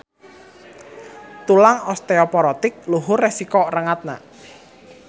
Tulang osteoporotik luhur resiko rengatna.